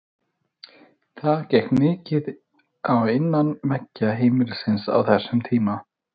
Það gekk mikið á innan veggja heimilisins á þessum tíma.